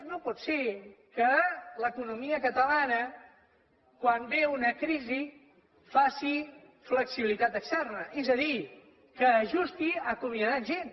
no pot ser que l’economia catalana quan ve una crisi faci flexibilitat externa és a dir que ajusti acomiadant gent